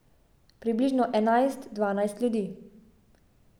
Približno enajst, dvanajst ljudi.